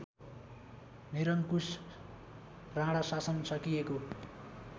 निरङ्कुश राणाशासन सकिएको